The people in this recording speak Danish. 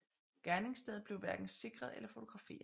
Gerningsstedet blev hverken sikret eller fotograferet